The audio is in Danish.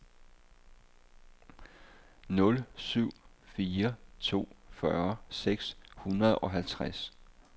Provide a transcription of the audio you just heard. nul syv fire to fyrre seks hundrede og halvtreds